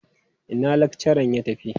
Ina lakcharan ya tafi?